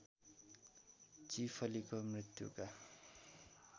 चीफलीको मृत्युका